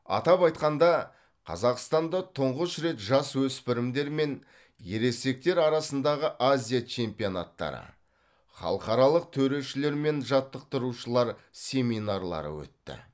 атап айтқанда қазақстанда тұңғыш рет жасөспірімдер мен ересектер арасындағы азия чемпионаттары халықаралық төрешілер мен жаттықтырушылар семинарлары өтті